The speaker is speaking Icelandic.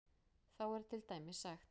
Þá er til dæmis sagt: